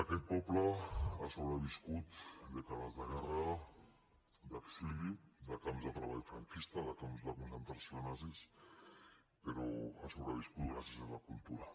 aquest poble ha sobreviscut dècades de guerra d’exili de camps de treball franquista de camps de concentració nazis però ha sobreviscut gràcies a la cultura